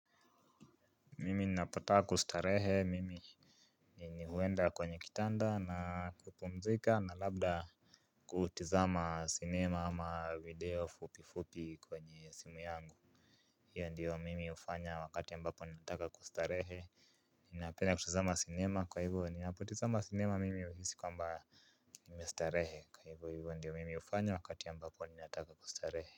Mimi ninapotaka kustarehe mimi mimi huenda kwenye kitanda na kupumzika na labda kutizama cinema ama video fupi fupi kwenye simu yangu. Hiyo ndiyo mimi hufanya wakati ambapo nataka kustarehe. Ninapena kutizama cinema kwa hivyo ninapotizama cinema mimi uhisi kwamba nimestarehe kwa hivyo hivyo ndiyo mimi hufanya wakati ambapo ninataka kustarehe.